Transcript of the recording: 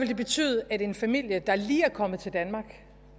det betyde at en familie der lige er kommet til danmark